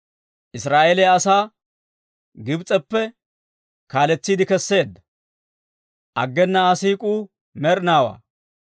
Israa'eeliyaa asaa, Gibs'eppe kaaletsiide kesseedda; aggena Aa siik'uu med'inaawaa.